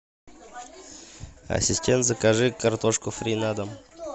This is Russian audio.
ассистент закажи картошку фри на дом